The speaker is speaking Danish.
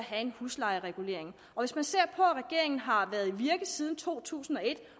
har en huslejeregulering hvis man ser på at regeringen har været i virke siden to tusind og et